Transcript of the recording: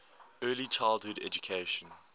early childhood education